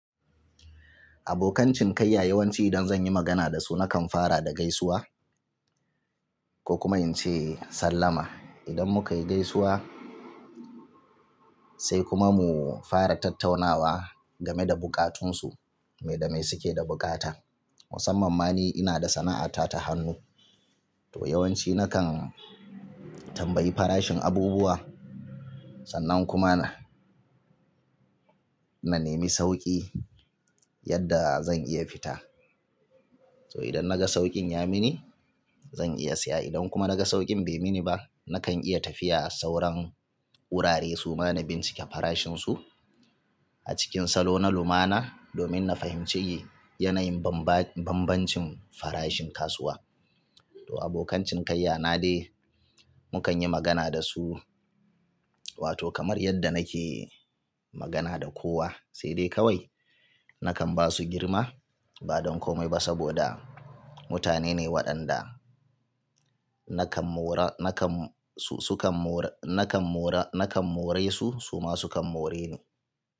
Abokan cinikayya yawanci idan zan yi magana da su nakan fara da gaisuwa ko kuma in ce sallama. Idan muka yi gaisuwa sai kuma mu fara tattaunawa game da bukatunsu, me da mai suke da bukata. Musamman ma ni ina da sana'ata ta hannu, to yawanci nakan tambayi farashin abubuwa sannan kuma na, na nemi sauki yadda zan iya fita. To idan naga saukin ya mini zan iya siya idan kuma naga saukin bai mini ba nakan iya tafiya a sauran wurare su mana bincike farashin su a cikin salo na lumana domin na fahimci yanayin bambancin farashin kasuwa. To abokan cinikayya na dai mukan yi magana da su wato kamar yadda nake magana da kowa sai dai kawai nakan ba su girma ba don komai ba saboda mutane ne waɗanda nakan mora, nakan sukan mora, nakan mora, nakan more su su ma sukan more ni.